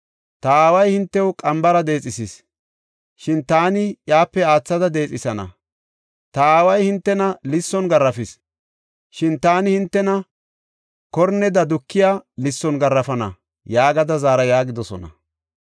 Ta aaway hintew qambara deexethis; shin taani iyape aathada deexethana. Ta aaway hintena lisson garaafis; shin taani hintena korneda dukiya lisson garaafana’ yaagada zaara” yaagidosona.